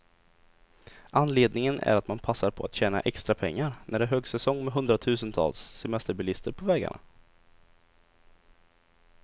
Anledningen är att man passar på att tjäna extra pengar, när det är högsäsong med hundratusentals semesterbilister på vägarna.